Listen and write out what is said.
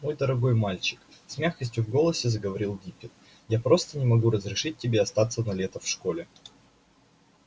мой дорогой мальчик с мягкостью в голосе заговорил диппет я просто не могу разрешить тебе остаться на лето в школе